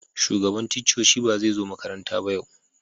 Shugaban ticcoci ba zai zo makaranta yau ba.